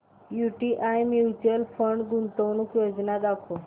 UTI mutual fund गुंतवणूक योजना दाखव